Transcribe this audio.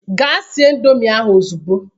Gaa sie indọmii ahụ ozugbo!